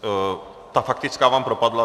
Tak faktická vám propadla.